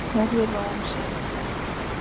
Verður ró um siðinn?